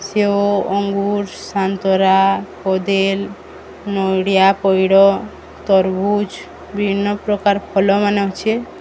ସେଓ ଅଙ୍ଗୁର ସାନ୍ତରା କଦିଲ ନଡ଼ିଆ ପଇଡ଼ ତରଭୁଜ ବିଭିନ୍ନ ପ୍ରକାର ଫଲ ମାନେ ଅଛେ।